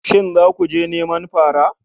Shin za mu je neman fara?